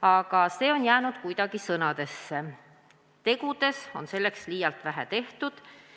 Ometi on see kõik jäänud vaid sõnadeks, tegudes on liialt vähe tehtud.